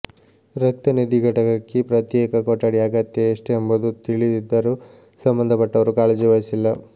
ರಕ್ತ ನಿಧಿ ಘಟಕಕ್ಕೆ ಪ್ರತ್ಯೇಕ ಕೊಠಡಿ ಅಗತ್ಯ ಎಷ್ಟೆಂಬುದು ತಿಳಿ ದಿದ್ದರೂ ಸಂಬಂಧಪಟ್ಟವರು ಕಾಳಜಿ ವಹಿಸಿಲ್ಲ